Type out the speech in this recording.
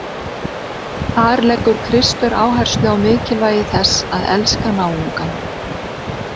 Þar leggur Kristur áherslu á mikilvægi þess að elska náungann.